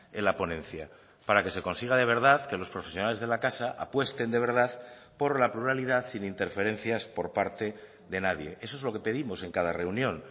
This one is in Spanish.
en la ponencia para que se consiga de verdad que los profesionales de la casa apuesten de verdad por la pluralidad sin interferencias por parte de nadie eso es lo que pedimos en cada reunión